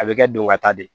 A bɛ kɛ don ka taa de